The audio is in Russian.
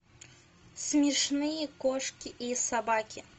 смешные кошки и собаки